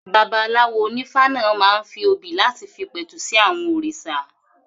Babaláwo onífá náà máa ń fi obì láti fi pẹ̀tù sí àwọn òrìṣà